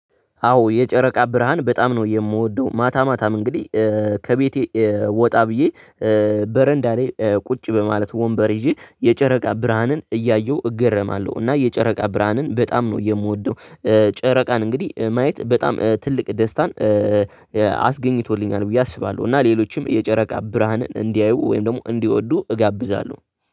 አዎ የጨረቃ ብርሃን በጣም ነው የምወደው ማታ ማታም እንግዲህ ከቤቴ ወጣ ብዬ በረንዳ ላይ ቁጭ በማለት ወንበር ይዤ የጨረቃ ብርሃንን እያየሁ እገረማለሁ እና የጨረቃ ብርሃንን በጣም ነው የምወደው። ጨረቃን እንግዲህ ማየት በጣም ትልቅ ደስታን አ አስገኝቶልኛል ብዬ አስባለሁ እና ሌሎችም የጨረቃ ብርሃን እንዲያዩ ወይም ደግሞ እንዲወዱ እጋብዛለሁ